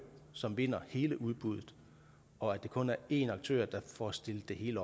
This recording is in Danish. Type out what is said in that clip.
som vinder hele udbuddet og at det kun er én aktør der får stillet det hele